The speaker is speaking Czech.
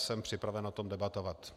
Jsem připraven o tom debatovat.